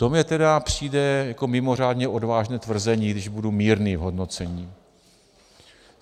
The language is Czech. To mně tedy přijde jako mimořádně odvážné tvrzení, když budu mírný v hodnocení.